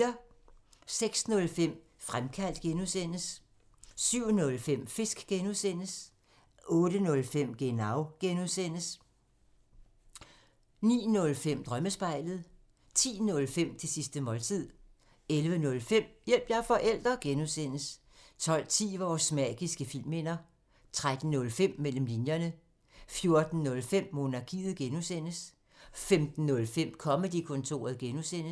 06:05: Fremkaldt (G) 07:05: Fisk (G) 08:05: Genau (G) 09:05: Drømmespejlet 10:05: Det sidste måltid 11:05: Hjælp – jeg er forælder! (G) 12:10: Vores magiske filmminder 13:05: Mellem linjerne 14:05: Monarkiet (G) 15:05: Comedy-kontoret (G)